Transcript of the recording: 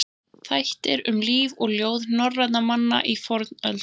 Þættir um líf og ljóð norrænna manna í fornöld.